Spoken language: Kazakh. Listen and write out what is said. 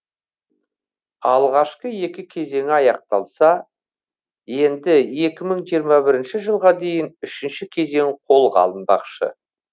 алғашқы екі кезеңі аяқталса енді екі мың жиырма бірінші жылға дейінгі үшінші кезең қолға алынбақшы